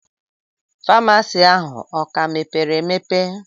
Faamasi ahu o ka mepere emepe?